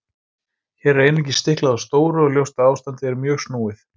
Hér er einungis stiklað á stóru og ljóst að ástandið er mjög snúið.